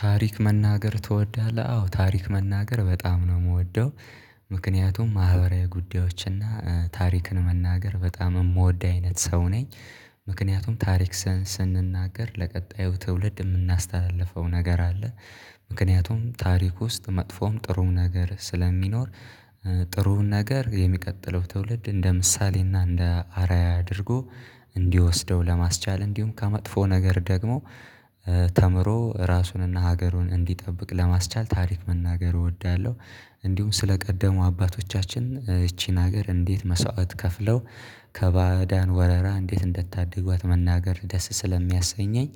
ታሪክ መናገር ትወዳለህ አዎ ታሪክ መናገር በጣም ነው የምወደው። ምክንያቱም ማህበራዊ ጉዳዮች እና ታሪክን መናገር በጣም የምወድ አይነት ሰው ነኝ። ምክንያቱም ታሪክ ስንናገር ለቀጣዩ ትውልድ የምናስተላልፈው ነገር አለ። ምክንያቱም ታሪክ ውስጥ መጥፎም ጥሩ ነገር ስለሚኖር። ጥሩ ነገር የሚቀጥለው ትውልድ እንደ ምሳሌና እንደ አርአያ አድርጎ እንዲወስደው ለማስቻል እንዲሁም ከመጥፎ ነገር ደግሞ። ተምሮ ራሱንና ሀገሩን እንዲጠብቅ ለማስቻል ታሪክ መናገር እወዳለሁ። እንዲሁም ስለቀደሙ አባቶቻችን ይቺን ሀገር እንዴት መስዋዕት ከፍለው ከባዳን ወረራ እንዴት እንደታደጉት መናገር ደስ ስለሚያሰኘኝ።